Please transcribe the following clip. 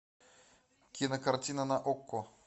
кинокартина на окко